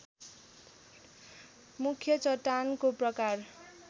मुख्य चट्टानको प्रकार